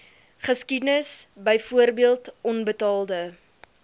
geskiedenis byvoorbeeld onbetaalde